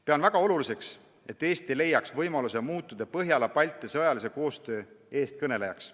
Pean väga oluliseks, et Eesti leiaks võimaluse muutuda Põhjala-Balti sõjalise koostöö eestkõnelejaks.